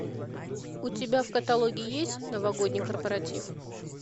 у тебя в каталоге есть новогодний корпоратив